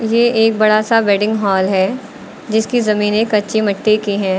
ये एक बड़ा सा वेडिंग हॉल है जिसकी जमीने एक कच्ची मिट्टी की है।